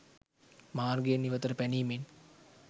මාර්ගයෙන් ඉවතට පැනීමෙන්